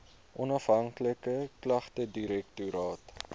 onafhanklike klagtedirektoraat